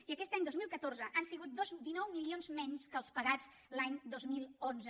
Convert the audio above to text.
i aquest any dos mil catorze han sigut dinou milions menys que els pagats l’any dos mil onze